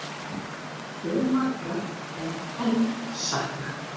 Fjölmargra sé enn saknað